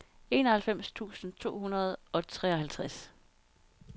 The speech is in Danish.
enoghalvfems tusind to hundrede og treoghalvtreds